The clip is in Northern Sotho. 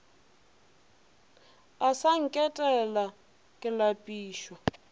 o sa nketela ke lapišwa